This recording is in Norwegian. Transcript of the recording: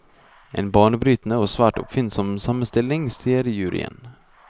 En banebrytende og svært oppfinnsom sammenstilling, sier juryen.